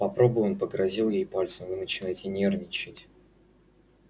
попробую он погрозил ей пальцем вы начинаете нервничать